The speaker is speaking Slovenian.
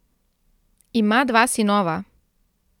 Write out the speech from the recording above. Ima dva sinova.